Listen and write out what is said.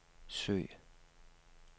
søg